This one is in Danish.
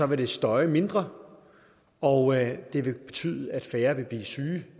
vil støje mindre og det vil betyde at færre vil blive syge